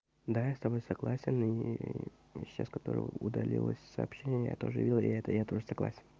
да я с тобой согласен и сейчас которое удалилось сообщение я тоже видел я это я тоже согласен